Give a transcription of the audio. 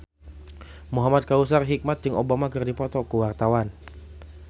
Muhamad Kautsar Hikmat jeung Obama keur dipoto ku wartawan